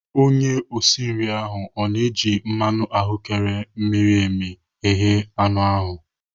Onye osi nri ahụ ọ na-eji mmanụ ahụ́kere miri emi eghe anụ ahụ?